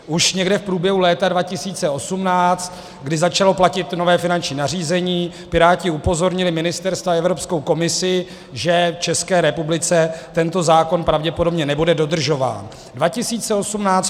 Už někde v průběhu léta 2018, kdy začalo platit nové finanční nařízení, Piráti upozornili ministerstva i Evropskou komisi, že v České republice tento zákon pravděpodobně nebude dodržován.